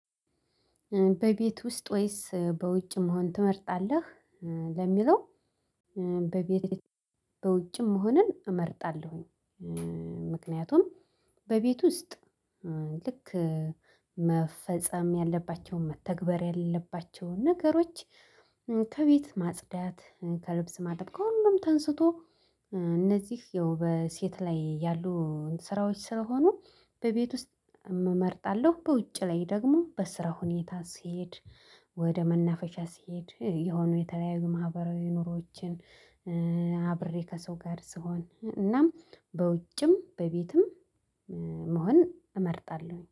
በቤት ውስጥ ወይስ በውጭ መሆን ትመርጣለህ? ለሚለው በቤት በውጭም መሆንን እመርጣለሁ። እእ ምክንያቱም በቤት ውስጥ ኧ ልክ መፈጸም ያለባቸውን መተግበር ያለለባቸውን ነገሮች። ከቤት ማጽዳት ከልብስ ማጠብ ከሁሉም ተነስቶ እነዚህ ያው በሴት ላይ ያሉ ስራዎች ስለሆኑ በቤት ውስጥ እም መርጣለሁ። በውጭ ላይ ደግሞ በስራ ሁኔታ ሲሄድ ወደ መናፈሻ ሲሄድ የሆኑ የተለያዩ ማህበራዊ ኑሮዎችን። ኧ አብሬ ከሰው ጋር ስሆን ኧ እናም በውጭም በቤትም መሆን እመርጣለሁ